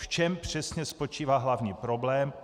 V čem přesně spočívá hlavní problém?